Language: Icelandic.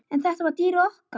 En þetta var dýrið okkar.